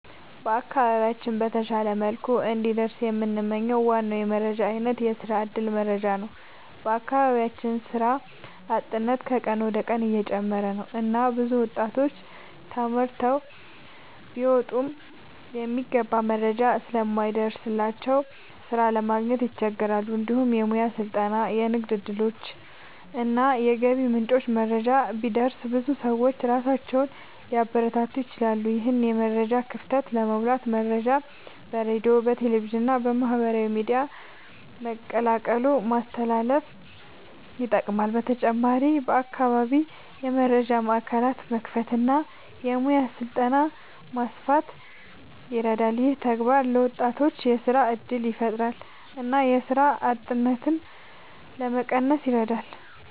በአካባቢያችን በተሻለ መልኩ እንዲደርስ የምንመኝው ዋና የመረጃ አይነት የስራ እድል መረጃ ነው። በአካባቢያችን የስራ አጥነት ከቀን ወደ ቀን እየጨመረ ነው እና ብዙ ወጣቶች ተማርተው ቢወጡም የሚገባ መረጃ ስለማይደርስላቸው ስራ ማግኘት ይቸገራሉ። እንዲሁም የሙያ ስልጠና፣ የንግድ እድሎች እና የገቢ ምንጮች መረጃ ቢደርስ ብዙ ሰዎች ራሳቸውን ሊያበረታቱ ይችላሉ። ይህን የመረጃ ክፍተት ለመሙላት መረጃ በሬዲዮ፣ በቴሌቪዥን እና በማህበራዊ ሚዲያ በቀላሉ ማስተላለፍ ይጠቅማል። በተጨማሪም በአካባቢ የመረጃ ማዕከላት መክፈት እና የሙያ ስልጠና ማስፋት ይረዳል። ይህ ተግባር ለወጣቶች የስራ እድል ያፈጥራል እና የስራ አጥነትን ለመቀነስ ይረዳል።